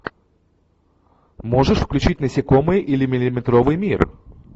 можешь включить насекомые или миллиметровый мир